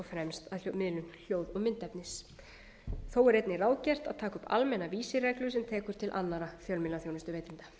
fremst að liðnum hljóð og myndefni þó er einnig ráðgert að taka upp almennar vísireglur sem taka til annarra fjölmiðlaþjónustuveitenda